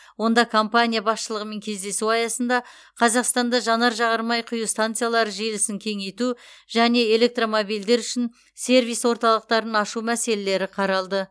онда компания басшылығымен кездесу аясында қазақстанда жанар жағармай құю станциялары желісін кеңейту және электромобильдер үшін сервис орталықтарын ашу мәселелері қаралды